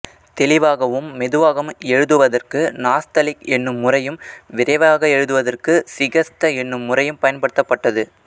தெளிவாகவும் மெதுவாகவும் எழுதுவதற்கு நாஸ்தலிக் என்னும் முறையும் விரைவாக எழுதுவதற்கு சிகஸ்த என்னும் முறையும் பயன்படுத்தப்பட்டது